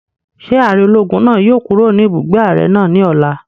Ṣé ààrẹ ológun náà yóò kúrò ní ibùgbé ààrẹ náà ní ọ̀la?